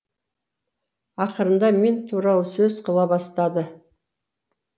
ақырында мен туралы сөз қыла бастады